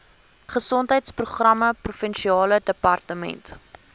gesondheidsprogramme provinsiale departement